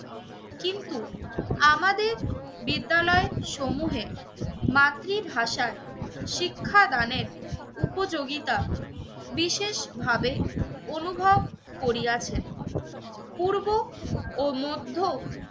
বিদ্যালয় সমূহে মাতৃভাষায় শিক্ষাদানের উপযোগিতা বিশেষভাবে অনুভব করিয়াছেন। পূর্ব ও মধ্য